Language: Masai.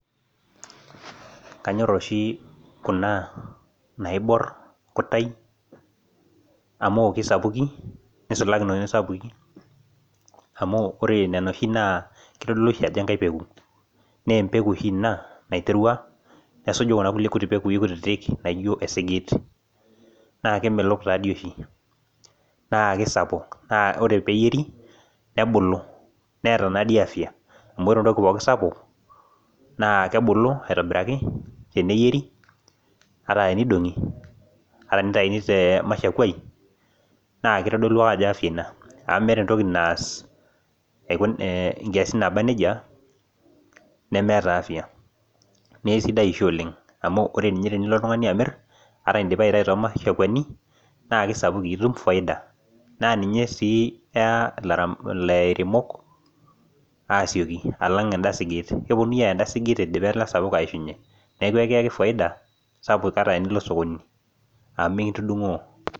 Kanyor oshi kuna naibor kutai amu kesapukin nisulaki noshi sapukin amu kitodolu ashi ajo enkae peku na empeku oshi ina naiterua nesuju kuna kulie pekui kutitik naijo esigit na kemelok oshi na kesapuk na ore piri nebuku neeta afya amu ore entoki pokj sapu nakebulu aitobiraki teneyieri ata tenidongi ata tinitauni temashakuai amu nkiasin naba nejia nemeeta afya mesidai amosho oleng amu ore tenilo oltungani amir ata indipa aitau tomashakuani nakesapukin itum faida na ninye si eya lairemok asioki enda siget keponui aya idipa enda siget aishunye neakubekiyaki faida sapuk ata enilo osokoni amu mikintudungoo.